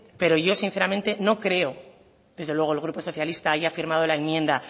pero yo sinceramente no creo que desde luego el grupo socialista haya firmado la enmienda